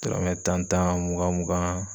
Dɔrɔmɛ tan tan mugan mugan